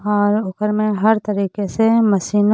और ओकर में हर तरीके से मशीन --